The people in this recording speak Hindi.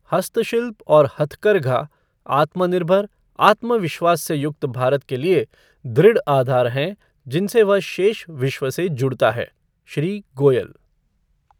हस्तशिल्प और हथकरघा आत्मनिर्भर, आत्मविश्वास से युक्त भारत के लिए दृढ़ आधार हैं जिनसे वह शेष विश्व से जुड़ता है श्री गोयल